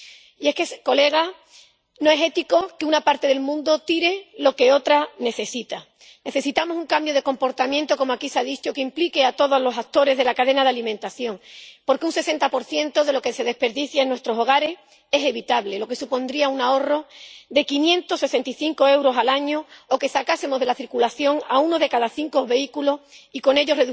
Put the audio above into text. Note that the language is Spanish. Y es que, Señorías, no es ético que una parte del mundo tire lo que otra necesita. Necesitamos un cambio de comportamiento —como aquí se ha dicho— que implique a todos los actores de la cadena de alimentación. Porque un 60 de lo que se desperdicia en nuestros hogares es evitable, lo que supondría un ahorro de 565 euros al año o que sacásemos de la circulación a uno de cada cinco vehículos, y con ello